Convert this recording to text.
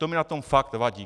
To mi na tom fakt vadí.